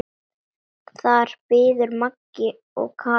Þar biðu Magga og Kata.